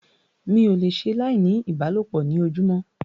Mi ò le ṣe láì ní ìbálòpọ̀ ní ojúmọ́.